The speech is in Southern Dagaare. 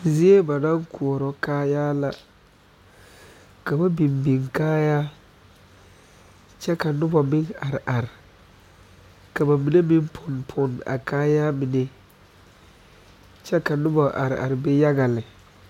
Zie ba naŋ koɔrɔ kaayaare la ka ba biŋ biŋ kaayaare kyɛ ka noba meŋ are are ka ba mine meŋ pone pone a kaayaare mine kyɛ ka noba are are be yaga lɛ